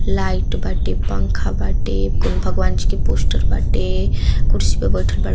light बाटे पंखा बाटे कोई भगवान जी के पोस्टर बाटे कुर्सी पर बैठल --